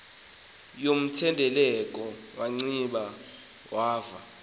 yomthendeleko wanciba wava